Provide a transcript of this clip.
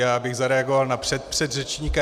Já bych zareagoval na předpředřečníka.